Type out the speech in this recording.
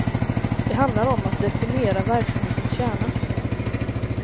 Det handlar om att definiera verksamhetens kärna.